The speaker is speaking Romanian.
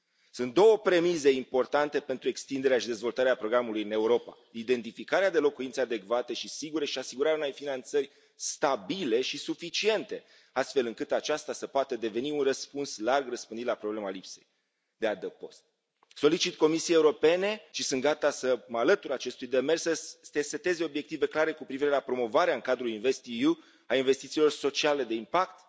Sunt două premize importante pentru extinderea și dezvoltarea programului în Europa identificarea de locuințe adecvate și sigure și asigurarea unei finanțări stabile și suficiente, astfel încât aceasta să poată deveni un răspuns larg răspândit la problema lipsei de adăpost. Solicit Comisiei Europene, și sunt gata să mă alătur acestui demers, să seteze obiective clare cu privire la promovarea în cadrul InvestEU a investițiilor sociale de impact